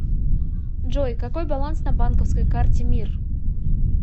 джой какой баланс на банковской карте мир